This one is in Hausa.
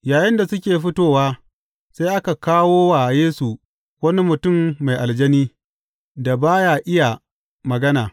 Yayinda suke fitowa, sai aka kawo wa Yesu wani mutum mai aljani, da ba ya iya magana.